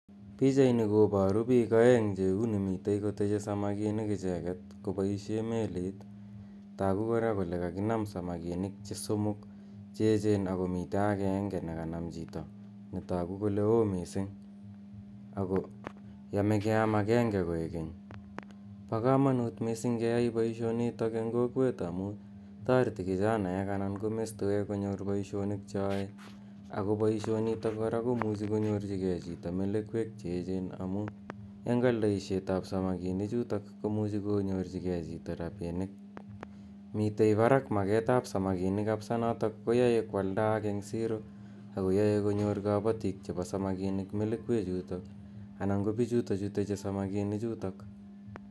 Pichaini koparu piik aeng' che uni mitei koteche samakinik icheget kopaishe melit. Tagu kora kole kakinam samakinik somok che echen ako mitei agenge ne kanam chito ne tagu kole oo missing' ako yame keam agenge koek keny. Po kamanut missing' keyai poishonitok eng' kokwet amu yareti kichanaek anan ko mestowek konyor poishonik che yae. Ako poishonitok ko muchi konyorchigei chito melekwek che echen amu eng' aldaishet ap samakinuchuto ko muchi konyorchigei chito rapinik. Mitei parak maket ap samakinik missing' notok koyae koaldaak eng' siro ako yae konyor kapatiik chepo samakinik melekwechutok anan ko pichutachu teche samakinichutok.